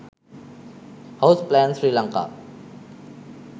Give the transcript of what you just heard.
house plan sri lanka